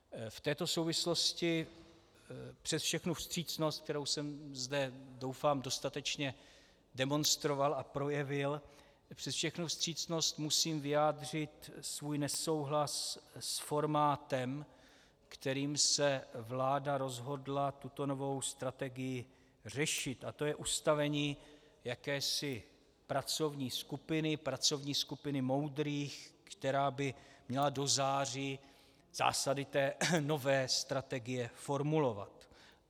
V této souvislosti přes všechnu vstřícnost, kterou jsem zde doufám dostatečně demonstroval a projevil, přes všechnu vstřícnost musím vyjádřit svůj nesouhlas s formátem, kterým se vláda rozhodla tuto novou strategii řešit, a to je ustavení jakési pracovní skupiny, pracovní skupiny moudrých, která by měla do září zásady té nové strategie formulovat.